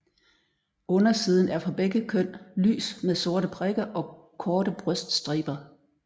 Undersiden er for begge køn lys med sorte prikker og korte bryststriber